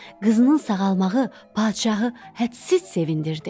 Qızının sağalmağı padşahı hədsiz sevindirdi.